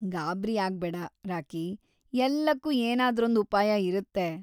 ಗಾಬ್ರಿಯಾಗ್ಬೇಡ, Rocky. ಎಲ್ಲಕ್ಕೂ ಏನಾದ್ರೊಂದು ಉಪಾಯ ಇರುತ್ತೆ.